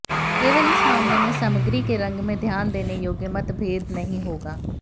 केवल इस मामले में सामग्री के रंग में ध्यान देने योग्य मतभेद नहीं होगा